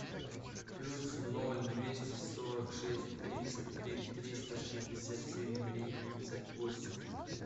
плюс ноль двести сорок шесть тридцать три триста шестьдесят семь тридцать восемь